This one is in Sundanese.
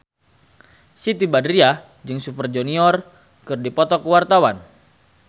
Siti Badriah jeung Super Junior keur dipoto ku wartawan